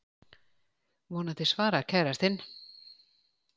Vonandi svarar kærastinn.